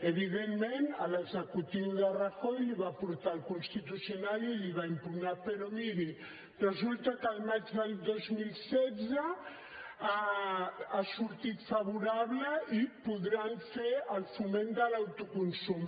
evidentment l’executiu de rajoy la hi va portar al constitucional i la hi va impugnar però miri resulta que al maig del dos mil setze ha sortit favorable i podran fer el foment de l’autoconsum